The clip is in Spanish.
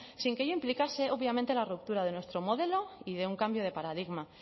sin que ello implicase obviamente la ruptura de nuestro modelo y de un cambio de paradigma